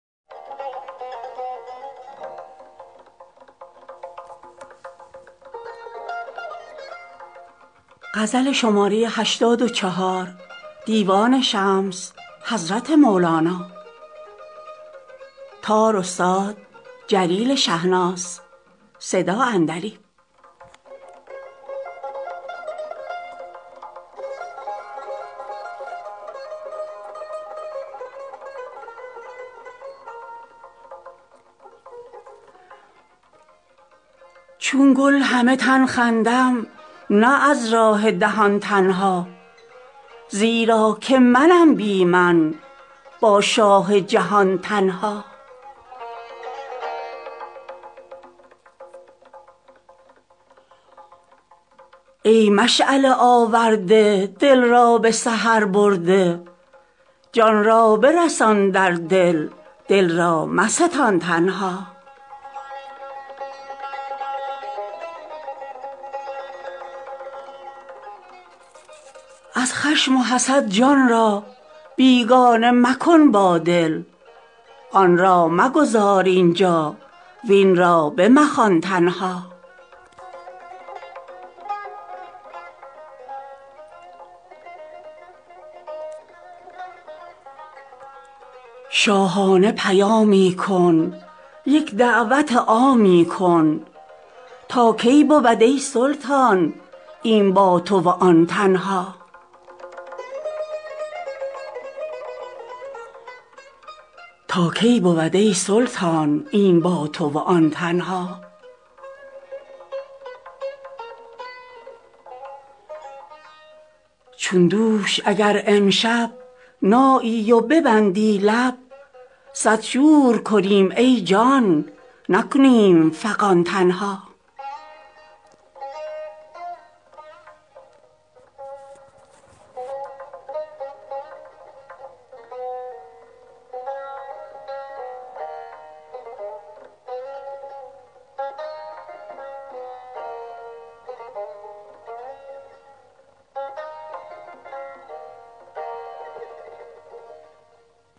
چون گل همه تن خندم نه از راه دهان تنها زیرا که منم بی من با شاه جهان تنها ای مشعله آورده دل را به سحر برده جان را برسان در دل دل را مستان تنها از خشم و حسد جان را بیگانه مکن با دل آن را مگذار اینجا وین را بمخوان تنها شاهانه پیامی کن یک دعوت عامی کن تا کی بود ای سلطان این با تو و آن تنها چون دوش اگر امشب نایی و ببندی لب صد شور کنیم ای جان نکنیم فغان تنها